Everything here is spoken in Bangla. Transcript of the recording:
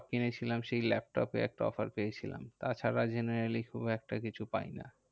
কিনেছিলাম সেই laptop এর একটা offer পেয়েছিলাম। তা ছাড়া generaly খুব একটা কিছু পাই না।